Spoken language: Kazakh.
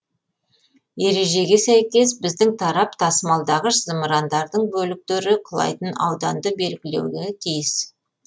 ережеге сәйкес біздің тарап тасымалдағыш зымырандардың бөліктері құлайтын ауданды белгілеуге тиіс